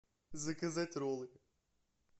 заказать роллы